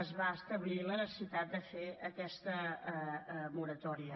es va establir la necessitat de fer aquesta moratòria